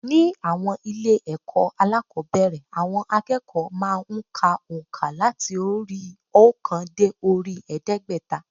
Ní àwọn ilé ẹ̀kọ́ alákòóbẹ̀rẹ̀ àwọn akẹ́kọ̀ọ́ má a n ka ònkà làti orí i óòkan dé orí i èédégbẹ́ta